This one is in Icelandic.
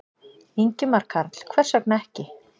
Ingimar Karl: Hvers vegna ekki?